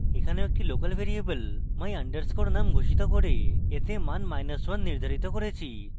এখানেও একটি local variable my _ num ঘোষিত করে এতে মান1 নির্ধারিত করেছি